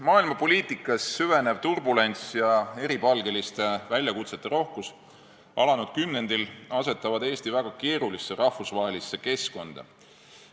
Maailma poliitikas süvenev turbulents ja eripalgeliste väljakutsete rohkus alanud kümnendil asetavad Eesti väga keerulisse rahvusvahelisse keskkonda.